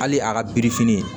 Hali a ka birifini